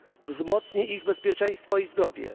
Wzmocni ich bezpieczeństwo i zdrowie.